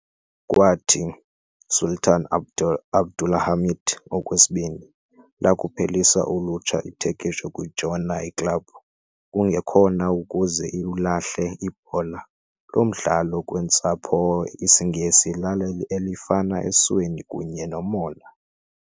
Kwathi, Sultan Abdulhamit Okwesibini, lakuphelisa ulutsha iTurkish ukujoyina i-club, kungekhona ukuze iwulahle ibhola, loo mdlalo kweentsapho IsiNgesi lalo elifana esweni kunye nomona.